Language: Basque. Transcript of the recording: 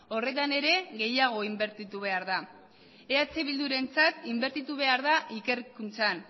horretan ere gehiago inbertitu behar da eh bildurentzat inbertitu behar da ikerkuntzan